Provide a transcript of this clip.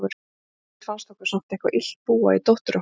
En aldrei fannst okkur samt eitthvað illt búa í dóttur okkar.